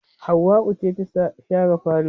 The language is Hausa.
Hauwau ce ta share falo